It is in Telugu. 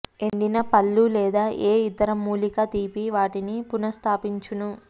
ఎండిన పళ్లు లేదా ఏ ఇతర మూలికా తీపి వాటిని పునఃస్థాపించుము